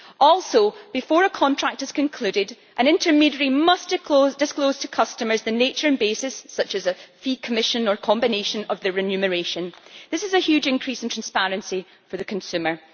Also, before a contract is concluded, an intermediary must disclose to customers the nature and basis such as a fee, commission, or combination thereof of the remuneration. This is a huge increase in transparency for the consumer.